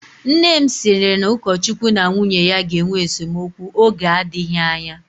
Nne sịrị na ukochukwu na nwunye ya ga-enwe esemokwu oge adịghị anya